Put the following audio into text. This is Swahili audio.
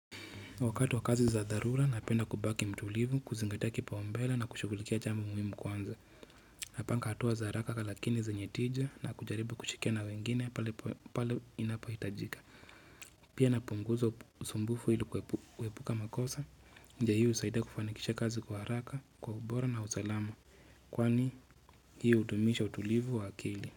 Wakati wa kazi za dharura napenda kubaki mtulivu kuzingatia kipaumbele na kushughulikia jambo muhimu kwanza napanga hatua za haraka lakini zenye tija na kujaribu kushikia na wengine pale inapohitajika pia napunguza usumbufu ilikuepuka makosa njia hii husaidia kufanikisha kazi kwa haraka kwa ubora na usalama kwani hiyo hudumisha utulivu wa akili.